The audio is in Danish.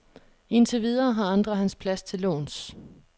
Indtil videre har andre hans plads til låns.